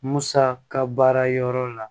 Musa ka baara yɔrɔ la